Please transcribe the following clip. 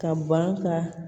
Ka ban ka